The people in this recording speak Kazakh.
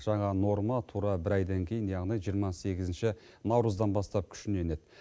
жаңа норма тура бір айдан кейін яғни жиырма сегізінші наурыздан бастап күшіне енеді